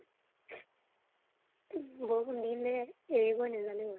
অম বৰষুণ দিলে এৰিব নাজানে